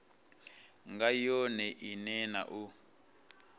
nga yone ine na u